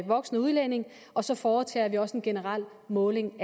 voksne udlændinge og så foretager vi også en generel måling